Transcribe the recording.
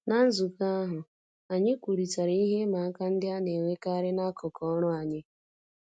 Ná nzukọ ahụ, anyị kwurịtara ihe ịma aka ndị a na-enwekarị n'akụkụ ọrụ anyị